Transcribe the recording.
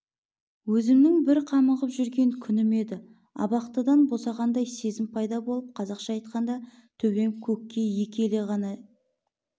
өзімнің бір қамығып жүрген күнім еді абақтыдан босанғандай сезім пайда болып қазақша айтқанда төбем көкке екі елі ғана